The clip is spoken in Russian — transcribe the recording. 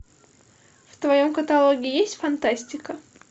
в твоем каталоге есть фантастика